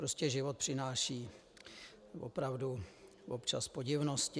Prostě život přináší opravdu občas podivnosti.